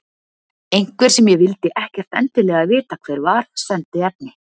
Einhver, sem ég vildi ekkert endilega vita hver var, sendi efni.